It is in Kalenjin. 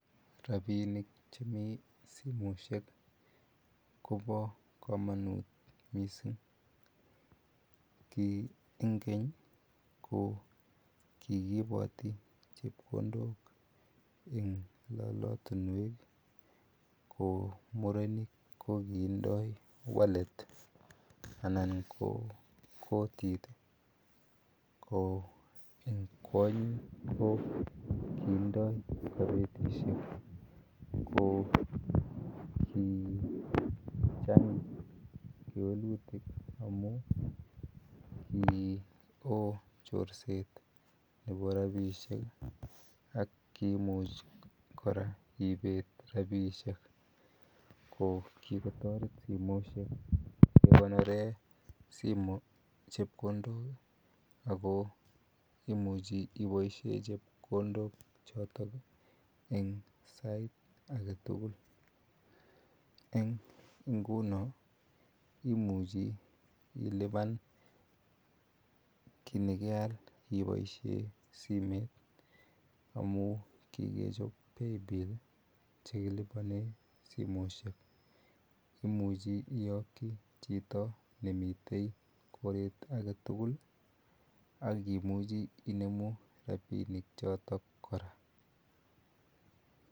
Rabinik chemi simoisiek koba kamanut missing. Ki en keny ko kikibati rabinik en lalatinuek. Ko che murenik kokiiben wallets anan kotit ih ko en kwanyik kokinda kabetisiek. Ko kochang kewelutik amuun ki o chorset nebo rabisiek ak kiimuch ibet rabisiek. Kikotaret kora simoisiek ih, kekonoren chebkondok ako imuche ibaishen chebkondok choton en sait agetugul. En ingunon imuchi iluban kit nekeal ibaisien simet amuun kikechob kelibanen simoisiek imuche iakyi chito koite koret agetugul akimuche inemu rabisiek choto kora.